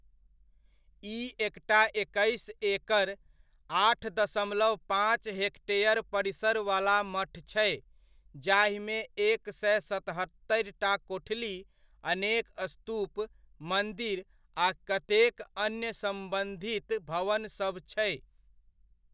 ई एकटा एकैस एकड़ ,आठ दशमलव पाँच हेक्टेयर परिसरवला मठ छै, जाहिमे एक सए सतहत्तरिटा कोठली, अनेक स्तूप, मन्दिर, आ कतेक अन्य सम्बन्धित भवनसभ छै।